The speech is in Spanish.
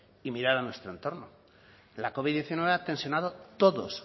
y mirar a nuestro entorno la covid diecinueve ha tensionando todos